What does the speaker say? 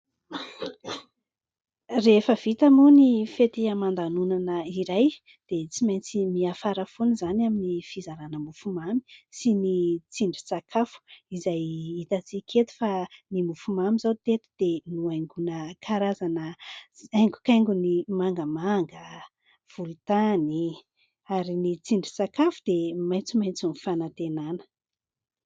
Rehefa vita moa ny fety aman-danonana iray dia tsy maintsy miafara foana izany amin'ny fizarana mofomamy sy ny tsindry sakafo izay hitantsika eto fa ny mofomamy izao teto dia nohaingona karazana haingokaingony mangamanga, volontany ary ny tsindry sakafo dia maitsomaitso ny fanantenana.